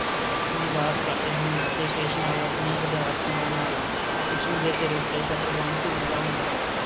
ਨਿਵਾਸ ਕਰਦੇ ਹਨ ਅਤੇ ਸ਼ੇਸ਼ਨਾਗ ਆਪਣੇ ਹਜ਼ਾਰ ਫੰਨ੍ਹਾਂ ਨਾਲ, ਵਿਸ਼ਨੂੰ ਦੇ ਸਿਰ ਉੱਤੇ ਛਤਰ ਵਾਂਗ ਝੂਲਦਾ ਹੁੰਦਾ ਹੈ।